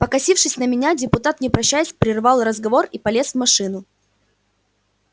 покосившись на меня депутат не прощаясь прервал разговор и полез в машину